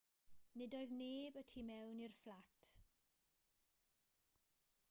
nid oedd neb y tu mewn i'r fflat